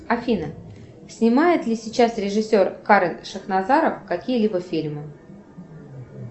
афина снимает ли сейчас режиссер карен шахназаров какие либо фильмы